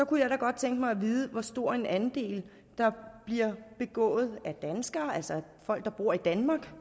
kunne jeg da godt tænke mig at vide hvor stor en andel der bliver begået af danskere altså folk der bor i danmark